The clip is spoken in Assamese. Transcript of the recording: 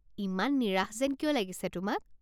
ইমান নিৰাশ যেন কিয় লাগিছে তোমাক?